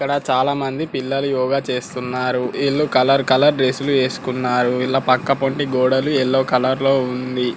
ఇక్కడ చాల మంది పిల్లలు యోగ చేస్తున్నారు విల్లు కలర్ కలర్ డ్రస్ లు వేసుకున్నారు. విల్లా పక్కపోంటి గోడలు యెల్లో కలర్ లో ఉంది.